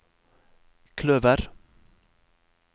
kløver